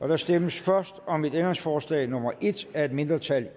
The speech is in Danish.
der stemmes først om ændringsforslag nummer en af et mindretal